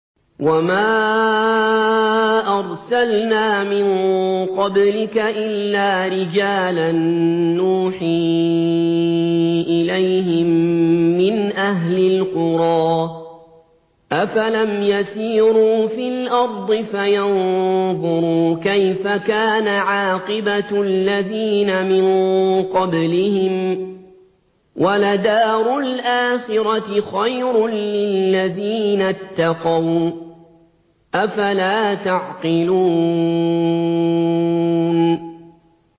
وَمَا أَرْسَلْنَا مِن قَبْلِكَ إِلَّا رِجَالًا نُّوحِي إِلَيْهِم مِّنْ أَهْلِ الْقُرَىٰ ۗ أَفَلَمْ يَسِيرُوا فِي الْأَرْضِ فَيَنظُرُوا كَيْفَ كَانَ عَاقِبَةُ الَّذِينَ مِن قَبْلِهِمْ ۗ وَلَدَارُ الْآخِرَةِ خَيْرٌ لِّلَّذِينَ اتَّقَوْا ۗ أَفَلَا تَعْقِلُونَ